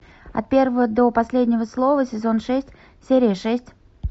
от первого до последнего слова сезон шесть серия шесть